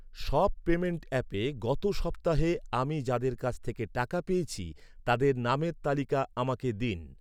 সব পেমেন্ট অ্যাপে গত সপ্তাহে আমি যাদের কাছ থেকে টাকা পেয়েছি তাদের নামের তালিকা আমাকে দিন।